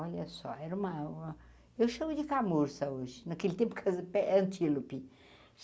Olha só, era o maior... Eu chamo de camurça hoje, naquele tempo, casa pe é antílope.